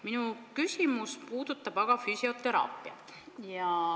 Minu küsimus puudutab aga füsioteraapiat.